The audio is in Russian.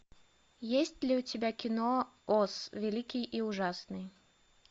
есть ли у тебя кино оз великий и ужасный